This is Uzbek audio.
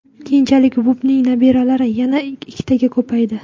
Keyinchalik Vupining nabiralari yana ikkitaga ko‘paydi.